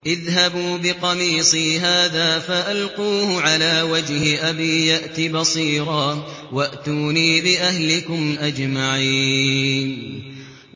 اذْهَبُوا بِقَمِيصِي هَٰذَا فَأَلْقُوهُ عَلَىٰ وَجْهِ أَبِي يَأْتِ بَصِيرًا وَأْتُونِي بِأَهْلِكُمْ أَجْمَعِينَ